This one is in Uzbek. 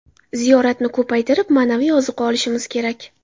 Ziyoratni ko‘paytirib, ma’naviy ozuqa olishimiz kerak.